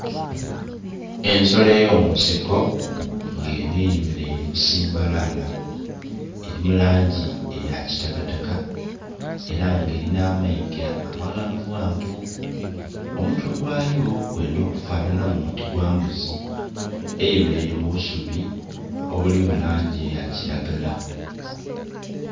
Ensolo ey'omunsiko ng'enho eyemeleire busimbalaala. Eri mu langi eya kitakataka, era nga elina amayiga amaghanvughanvu. Omutwe gwayo gwendha okufanhanhamu oti gwa mbuzi. Eyemeleire mu busubi obuli mu langi eya kiragala.